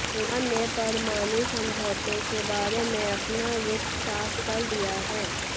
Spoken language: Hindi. ईरान ने परमाणु समझौते के बारे में अपना रुख़ साफ़ कर दिया है